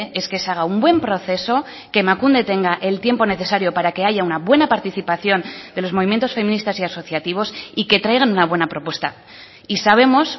es que se haga un buen proceso que emakunde tenga el tiempo necesario para que haya una buena participación de los movimientos feministas y asociativos y que traigan una buena propuesta y sabemos